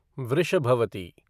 Vrishabhavati